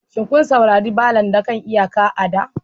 Shin kun saurari ballads na kan iyaka a da?